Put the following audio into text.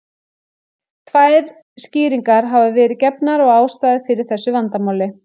Tvær skýringar hafa verið gefnar á ástæðu fyrir þessu vandamáli.